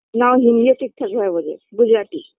না ও হিন্দিও ঠিকঠাক ভাবে বোঝে গুজরাটি